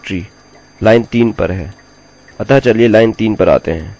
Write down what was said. हमारी फाइल का नाम और डाइरेक्टरी लाइन 3 पर है